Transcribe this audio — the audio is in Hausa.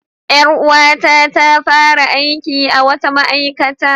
Ƴar uwata ta fara aiki a wata ma'aikata.